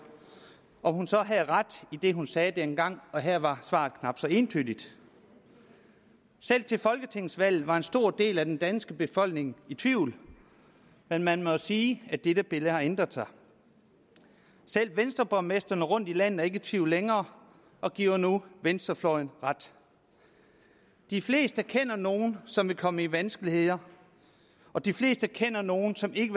om hun så havde ret i det hun sagde dengang og her var svaret knap så entydigt selv til folketingsvalget var en stor del af den danske befolkning i tvivl men man må jo sige at dette billede har ændret sig selv venstreborgmestrene rundtom i landet er ikke i tvivl længere og giver nu venstrefløjen ret de fleste kender nogle som vil komme i vanskeligheder og de fleste kender nogle som ikke